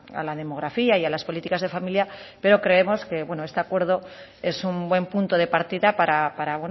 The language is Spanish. a la demografía y a las políticas de familia pero creemos que este acuerdo es un buen punto de partida para